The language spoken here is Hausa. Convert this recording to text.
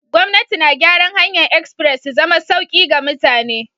Gwamnati na gyaran hanyar express su zama sauki ga mutane.